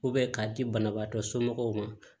k'a di banabaatɔ somɔgɔw ma